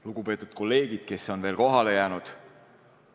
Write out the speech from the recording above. Lugupeetud kolleegid, kes on veel kohale jäänud!